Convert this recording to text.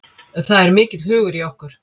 Það er mikill hugur í okkur